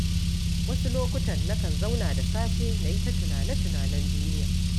Wasu lokutan nakan zauna da safe na yi ta tunane-tunanen duniya